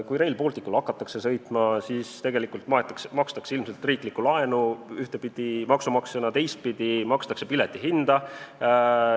Kui Rail Balticul hakatakse sõitma, siis tegelikult makstakse ilmselt riiklikku laenu ühtepidi maksumaksjana, teistpidi makstakse pileti hinda.